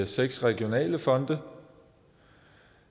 seks regionale fonde